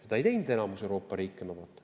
Seda ei teinud enamik Euroopa riike niimoodi.